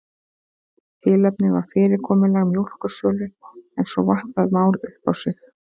Tilefnið var fyrirkomulag mjólkursölu en svo vatt það mál upp á sig.